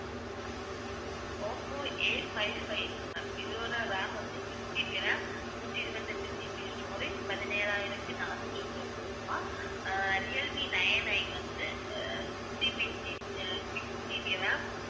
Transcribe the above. Oppo eight five five ma'am இதோட ram வந்து 6GB RAM நூத்தி இருபத்தெட்டு GB storage பதினேழாயிரத்தி நானூற்று தொண்ணுறு ரூபாய் அஹ் ரியல்மீ nineI வந்து அஹ் 6GB அஹ் sixGBram